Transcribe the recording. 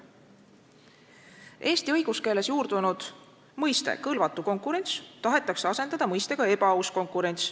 Eesti õiguskeeles juurdunud mõiste "kõlvatu konkurents" tahetakse asendada mõistega "ebaaus konkurents".